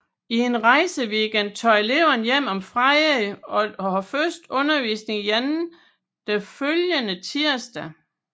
I en rejseweekend tager eleverne hjem om fredagen og har først undervisning igen den følgende tirsdag